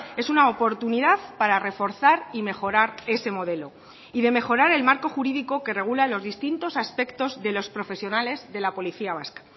es una oportunidad para reforzar y mejorar ese modelo y de mejorar el marco jurídico que regula los distintos aspectos de los profesionales de la policía vasca